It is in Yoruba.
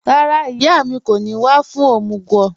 Rárá, ìyà mi kò ní wà fún omúg